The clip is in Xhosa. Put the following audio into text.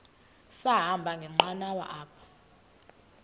sahamba ngenqanawa apha